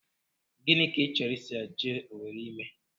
Gịnị ka ị chọrọ iso ya jee Owere ime?